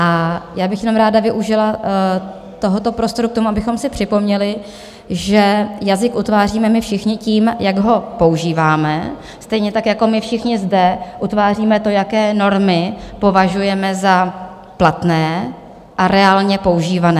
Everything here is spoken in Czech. A já bych jenom ráda využila tohoto prostoru k tomu, abychom si připomněli, že jazyk utváříme my všichni tím, jak ho používáme, stejně tak jako my všichni zde utváříme to, jaké normy považujeme za platné a reálně používané.